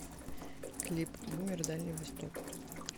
клип бумер дальний восток